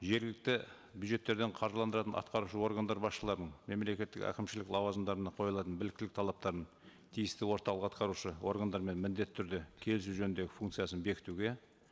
жергілікті бюджеттерден қаржыландыратын атқарушы органдар басшыларын мемлекеттік әкімшілік лауазымдарына қойылатын біліктілік талаптарын тиісті орталық атқарушы органдарымен міндетті түрде келісу жөніндегі функциясын бекітуге